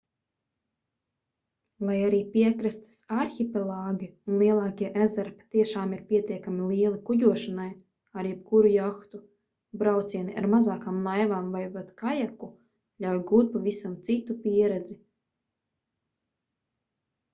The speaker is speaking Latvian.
lai arī piekrastes arhipelāgi un lielākie ezeri patiešām ir pietiekami lieli kuģošanai ar jebkuru jahtu braucieni ar mazākām laivām vai pat kajaku ļauj gūt pavisam citu pieredzi